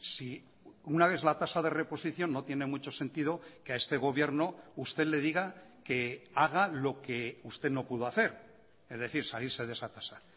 si una vez la tasa de reposición no tiene mucho sentido que a este gobierno usted le diga que haga lo que usted no pudo hacer es decir salirse de esa tasa